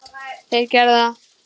Þeir gerðu það.